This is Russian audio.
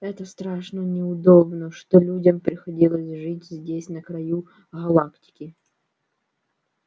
это страшно неудобно что людям приходилось жить здесь на краю галактики